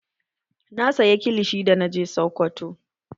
Na saya kilishi da na je sokoto